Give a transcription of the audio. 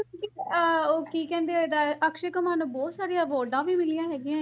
ਇੱਕ ਅਹ ਉਹ ਕੀ ਕਹਿੰਦੇ ਤਾਂ ਅਕਸ਼ੇ ਕੁਮਾਰ ਨੂੰ ਬਹੁਤ ਸਾਰੇ ਅਵਾਰਡਾਂ ਵੀ ਮਿਲੀਆਂ ਹੈਗੀਆਂ,